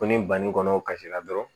Ko ni banni kɔnɔw kasi la dɔrɔn